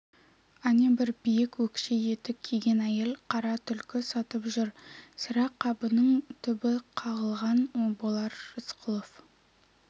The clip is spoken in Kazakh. әнебір биік өкше етік киген әйел қара түлкі сатып тұр сірә қабының түбі қағылған болар рысқұлов